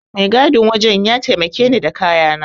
Mai gadin wajen ya taimake ni da kayana.